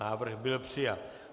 Návrh byl přijat.